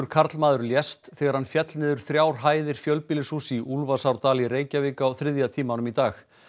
karlmaður lést þegar hann féll niður þrjár hæðir fjölbýlishúss í í Reykjavík á þriðja tímanum í dag